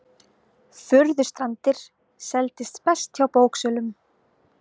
Furðustrandir seldist best hjá bóksölum